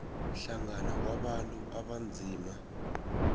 hlangana kwabantu abanzima